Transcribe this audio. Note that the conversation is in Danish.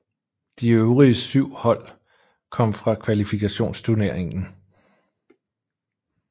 De øvrige syv hold kom fra kvalifikationsturneringen